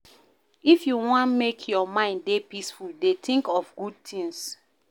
If you wan make your mind dey peaceful dey tink of good tins.